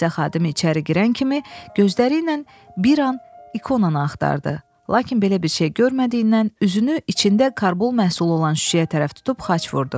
Kilsə xadimi içəri girən kimi gözləri ilə bir an ikonanı axtardı, lakin belə bir şey görmədiyindən üzünü içində karbol məhsulu olan şüşəyə tərəf tutub xaç vurdu.